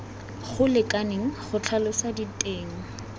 go lekaneng go tlhalosa diteng